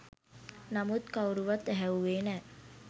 නමුත් කවුරුවත් ඇහැව්වේ නෑ